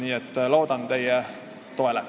Nii et loodan teie toele.